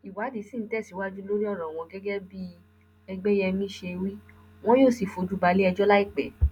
ìwádìí sì ń tẹsíwájú lórí ọrọ wọn gẹgẹ bí ègbéyẹmi ṣe wí wọn yóò sì fojú balẹẹjọ láìpẹ